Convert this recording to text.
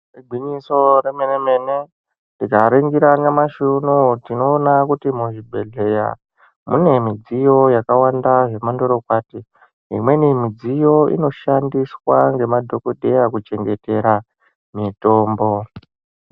Igwinyiso remene mene tikaningira nyamashi unonuyu tinoona kuti muzvibhedhlera mune midziyo yakawanda zvemandorokwati imweni midziyo inoshandiswa ngemadhokodheya kuchengetera mitombo.